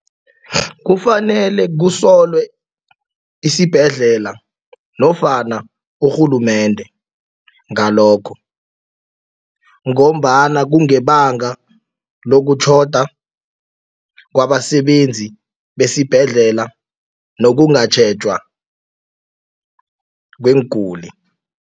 Kufanele kusolwe isibhedlela nofana urhulumende ngalokho. Ngombana kungebanga lokutjhoda kwabasebenzi besibhedlela nokungatjhejwa kweenguli.